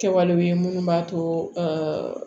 Kɛwalew ye minnu b'a to